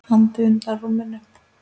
andi undan rúminu.